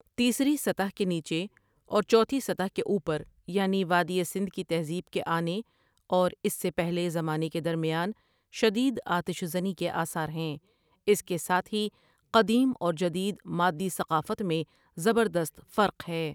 تیسری سطح کے نیچے اور چوتھی سطح کے اوپر یعنی وادی سندھ کی تہذیب کے آنے اور اس سے پہلے زمانے کے درمیان شدید آتش زنی کے آثار ہیں اس کے ساتھ ہی قدیم اور جدید مادی ثقافت میں زبر دست فرق ہے ۔